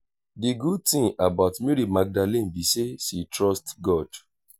the good thing about mary magdalene be say she trust god